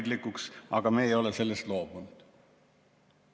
" Aga ei ole sellest loobunud.